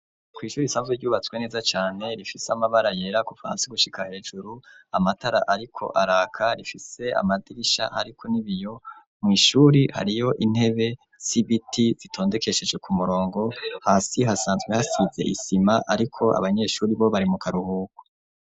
Kw'ishure risanzwe ryubatswe neza cane rifise amabara yera kuva hasi gushika hejuru amatara ariko araka rifise amadirisha hariko n'ibiyo mw'ishure hariyo intebe zitondekesheje ku murongo hasi hasanzwe hasize isima ariko abanyeshure bo bari mu karuhuko.